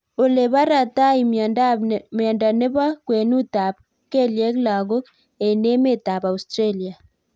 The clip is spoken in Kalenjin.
Olebaratai miondop nepoo kwenut ap kelyek lagok eng emeet ap Australia